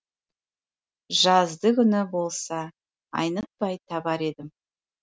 жазды күні болса айнытпай табар едім